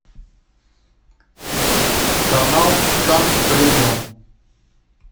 канал шант премиум